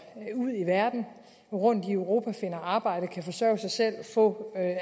ud i verden rundt i europa finder arbejde og kan forsørge sig selv og få